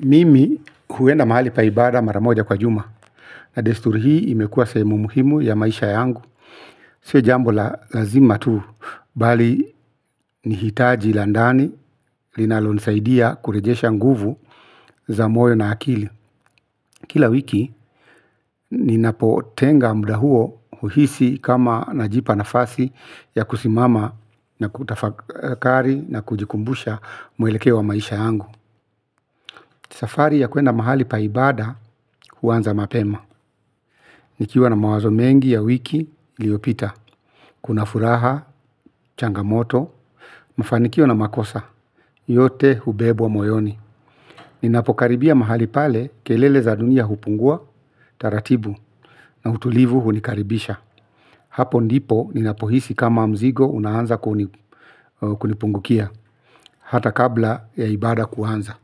Mimi huenda mahali pa ibada maramoja kwa juma. Na desturu hii imekuwa sehemu muhimu ya maisha yangu. Sio jambo la lazima tu. Bali ni hitaji la ndani, linalonisaidia kurejesha nguvu za moyo na akili. Kila wiki, ninapotenga muda huo huhisi kama najipa nafasi ya kusimama na kutafakari na kujikumbusha mwelekeo wa maisha yangu. Safari ya kuenda mahali pa ibada huanza mapema. Nikiwa na mawazo mengi ya wiki liyopita, kuna furaha, changamoto, mafanikio na makosa, yote hubebwa moyoni. Ninapokaribia mahali pale, kelele za dunia hupungua, taratibu, na utulivu hunikaribisha. Hapo ndipo ninapohisi kama mzigo unaanza kunipungukia, hata kabla ya ibada kuanza.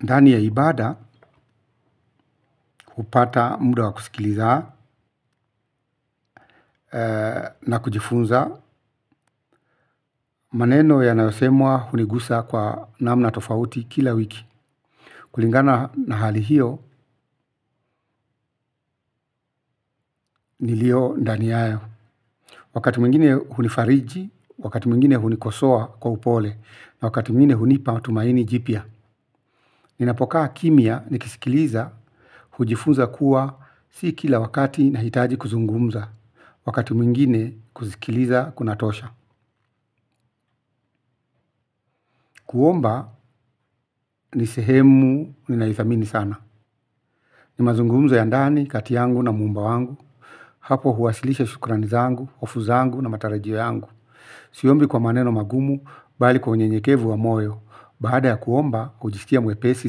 Ndani ya ibada hupata muda wa kusikiliza na kujifunza maneno yanayosemwa hunigusa kwa namna tofauti kila wiki. Kulingana na hali hiyo niliyo ndani yayo. Wakati mwingine hunifariji, wakati mwingine hunikosoa kwa upole, na wakati mwingine hunipa matumaini jipya. Ninapokaa kimya ni kisikiliza, hujifunza kuwa si kila wakati nahitaji kuzungumza, wakati mwingine kuzikiliza kunatosha. Kuomba ni sehemu ni naithamini sana. Ni mazungumzo ya ndani, kati yangu na muumba wangu. Hapo huwasilisha shukrani zangu, hofu zangu na matarajio yangu. Siombi kwa maneno magumu, bali kwa unyenyekevu wa moyo. Baada ya kuomba, kujiskia mwepesi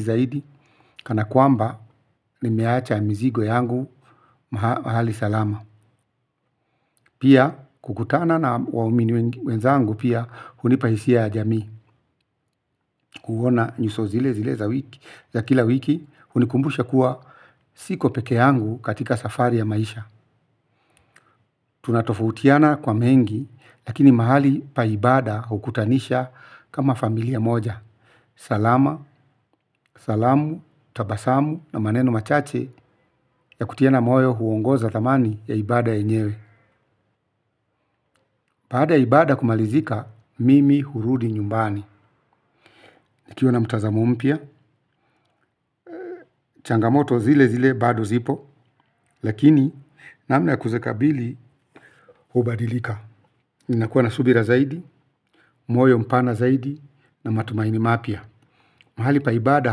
zaidi. Kana kuomba, nimeacha mizigo yangu mahali salama. Pia, kukutana na waumini wenzangu pia, hunipa hisia ya jami. Kuona nyuso zile za wiki za kila wiki hunikumbusha kuwa siko peke yangu katika safari ya maisha. Tunatofutiana kwa mengi. Lakini mahali pa ibada hukutanisha kama familia moja. Salama, salamu, tabasamu na maneno machache ya kutiana moyo huongoza thamani ya ibada yenyewe. Baada ya ibada kumalizika mimi hurudi nyumbani. Nikiwa na mtazamo mpya, changamoto zile zile bado zipo. Lakini namna ya kuzikabili hubadilika. Ninakuwa na subira zaidi, moyo mpana zaidi na matumaini mapya. Mahali pa ibada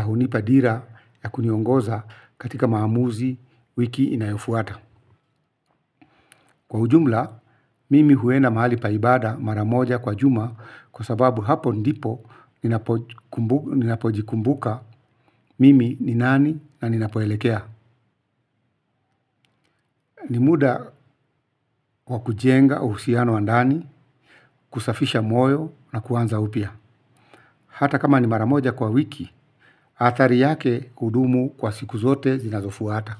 hunipa dira ya kuniongoza katika maamuzi wiki inayofuata. Kwa ujumla mimi huenda mahali pa ibaada mara moja kwa juma kwa sababu hapo ndipo ninapo ninapojikumbuka mimi ni nani na ninapoelekea. Ni muda wa kujenga uhusiano wa ndani kusafisha moyo na kuanza upya. Hata kama ni maramoja kwa wiki athari yake hudumu kwa siku zote zinazofuata.